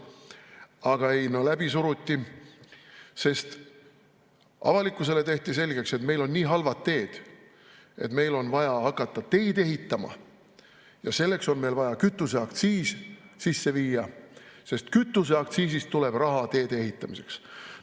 Aga ei, no läbi suruti, sest avalikkusele tehti selgeks, et meil on nii halvad teed, et meil on vaja hakata teid ehitama ja selleks on meil vaja kütuseaktsiis sisse viia, sest kütuseaktsiisist tuleb raha teede ehitamiseks.